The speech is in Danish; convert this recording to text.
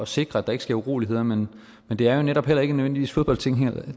sikre at der ikke sker uroligheder men det er netop heller ikke nødvendigvis fodboldtilhængere